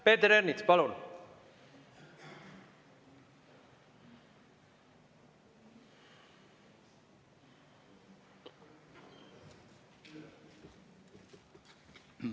Peeter Ernits, palun!